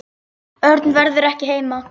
Örn verður ekki heima.